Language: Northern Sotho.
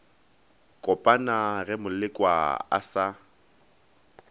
kopana ge molekwa a sa